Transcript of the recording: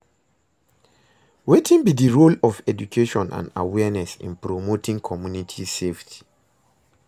Wetin be di role of education and awareness in promoting community safety?